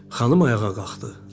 Xanım ayağa qalxdı.